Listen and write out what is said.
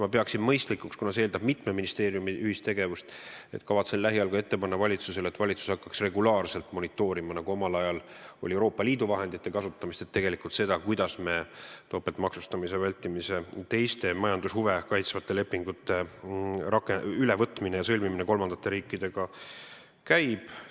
Ma pean mõistlikuks, kuna see eeldab mitme ministeeriumi ühistegevust, lähiajal ette panna ka valitsusele, et valitsus hakkaks regulaarselt monitoorima, nagu omal ajal oli Euroopa Liidu vahendite kasutamisega, kuidas topeltmaksustamise vältimise ja teiste majandushuve kaitsvate lepingute ülevõtmine ja sõlmimine kolmandate riikidega käib.